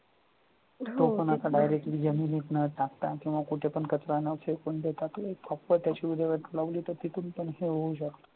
तो पण आता जमिनीत direct न टाकता कुठेपण कचरा न फेकून देता तो एक proper त्याची विल्हेवाट लावून देतात तिथून